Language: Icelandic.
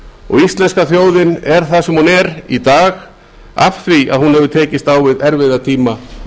og íslenska þjóðin er það sem hún er í dag vegna þess að hún hefur tekist á við erfiða tíma